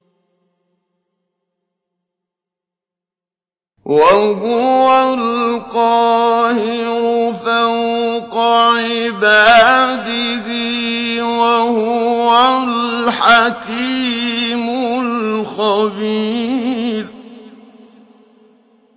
وَهُوَ الْقَاهِرُ فَوْقَ عِبَادِهِ ۚ وَهُوَ الْحَكِيمُ الْخَبِيرُ